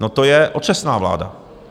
No, to je otřesná vláda.